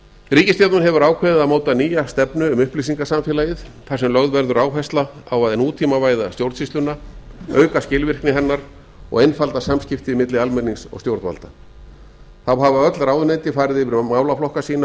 ríkisstjórnin hefur ákveðið að móta nýja stefnu um upplýsingasamfeálgið þar sem lögð verður áhersla á að nútímavæða stjórnsýsluna auk skilvirkni hennar og einfalda samskipti milli almennings og stjórnvalda hafa öll ráðuneyti farið yfir málaflokka sína